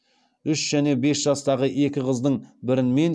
үш және бес жастағы екі қыздың бірін мен